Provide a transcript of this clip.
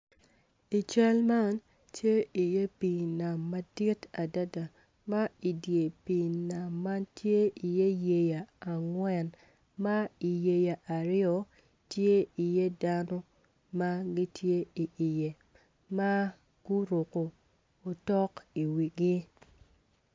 I cal man tye iye pii nam madit adad ma i pii nam man ma idye pii nam man tye iye yeya angwen ma iyeya aryo tye iye dano ma gitye iye ma guruko otok iwigi.